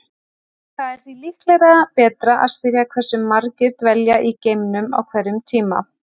Það er því líklega betra að spyrja hversu margir dvelja í geimnum á hverjum tíma.